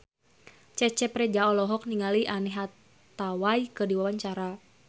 Cecep Reza olohok ningali Anne Hathaway keur diwawancara